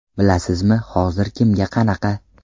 Bilasizmi, hozir kimga qanaqa?